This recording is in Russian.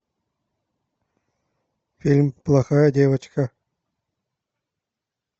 фильм плохая девочка